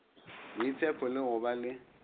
boitshepo le go ba le